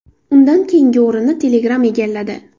Undan keyingi o‘rinni Telegram egalladi.